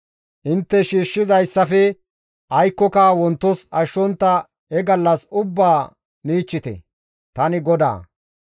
Intte shiishshidayssafe aykkoka wontos ashshontta he gallas ubbaa michchite; tani GODAA.